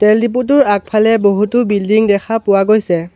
তেল ডিপুটোৰ আগফালে বহুতো বিল্ডিং দেখা পোৱা গৈছে।